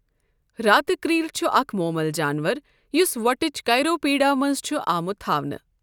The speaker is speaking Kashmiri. راتہٕ کرٛیٖل چھُ اَکھ مۄمَل جانور، یُس وۄٹٕچؠ کَیرۆپٹٕرا مَنٛز چھُ آمُت تھاونہٕ۔